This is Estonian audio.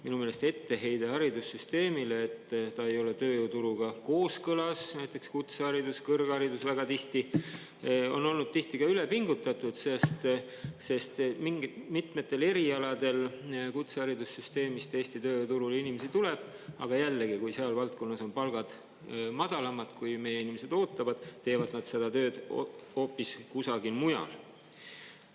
Minu meelest etteheide haridussüsteemile, et ta ei ole tööjõuturuga kooskõlas – näiteks kutseharidus, kõrgharidus väga tihti –, on olnud tihti ka ülepingutatud, sest mitmetel erialadel kutseharidussüsteemist Eesti tööjõuturule inimesi tuleb, aga jällegi, kui seal valdkonnas on palgad madalamad, kui meie inimesed ootavad, teevad nad seda tööd hoopis kusagil mujal.